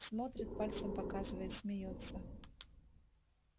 смотрит пальцем показывает смеётся